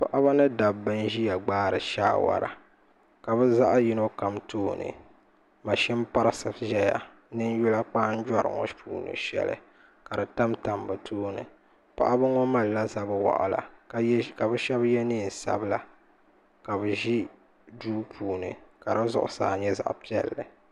Paɣaba ni dabba n ʒiya gbaari saawara ka bi zaɣ yino kam tooni mashini parisi ʒɛya ni ninyula kpanjoɣu ŋo puuni shɛli ka di tamtam bi tooni paɣaba ŋo malila zabi waɣala ka bi shab yɛ neen sabila ka bi ʒi duu puuni ka di zuɣusaa nyɛ zaɣ piɛlli